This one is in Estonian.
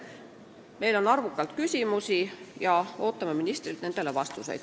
Meil on arvukalt küsimusi ja me ootame ministrilt nendele vastuseid.